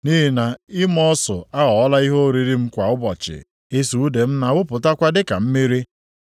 Nʼihi na ịma ọsụ aghọọla ihe oriri m kwa ụbọchị; ịsụ ude m na-awụpụtakwa dịka mmiri.